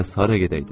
Bəs hara gedəydim?